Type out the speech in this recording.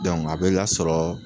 a bɛ lasɔrɔ